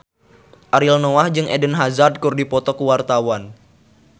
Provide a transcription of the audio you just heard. Ariel Noah jeung Eden Hazard keur dipoto ku wartawan